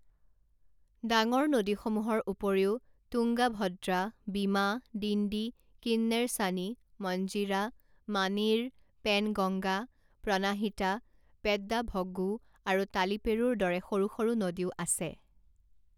ডাঙৰ নদীসমূহৰ উপৰিও তুঙ্গা ভদ্ৰা, বিমা, ডিণ্ডী, কিন্নেৰসাণী, মঞ্জীৰা, মানেইৰ, পেনগঙ্গা, প্ৰণাহিতা, পেড্ডাভগু আৰু তালিপেৰুৰ দৰে সৰু সৰু নদীও আছে।